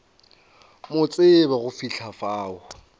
mo tsebe go fihla fao